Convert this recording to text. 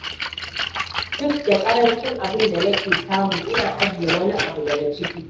Duk da ƙarancin abin da nake samu, ina ajiye wani abu daga ciki.